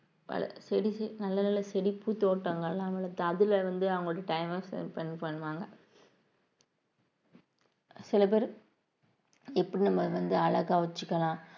வளர்~ செடி நல்ல நல்ல செடி பூ தோட்டங்கள் வளர்த்து அதுல வந்து அவங்களோட time அ spend பண்ணுவாங்க சில பேரு எப்படி நம்மள வந்து அழகா வச்சுக்கலாம்